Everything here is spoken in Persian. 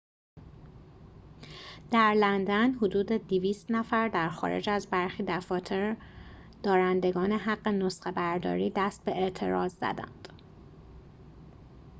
در لندن حدود ۲۰۰ نفر در خارج از برخی دفاتر دارندگان حق نسخه‌برداری دست به اعتراض زدند